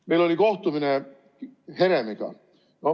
Meil oli kohtumine Heremiga.